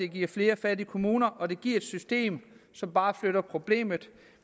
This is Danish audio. giver flere fattige kommuner og at det giver et system som bare flytter problemet